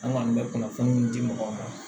An kɔni bɛ kunnafoniw di di mɔgɔw ma